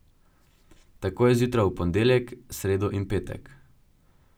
Tako je zjutraj v ponedeljek, sredo in petek.